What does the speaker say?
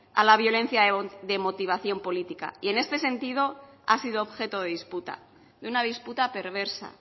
a la violencia de motivación política y en este sentido ha sido objeto de disputa de una disputa perversa